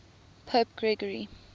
pope gregory